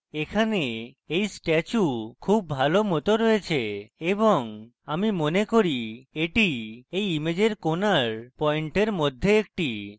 এখানে এই statue খুব ভালো মত রয়েছে এবং আমি মনে করি এটি এই ইমেজের corner পয়েন্টের মধ্যে একটি